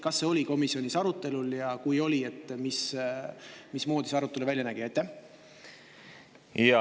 Kas see oli komisjonis arutelul ja kui oli, mismoodi see arutelu välja nägi?